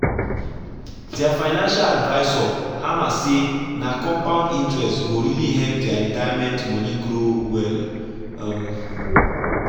their financial advisor hammer say na compound interest go really help their retirement money grow well. um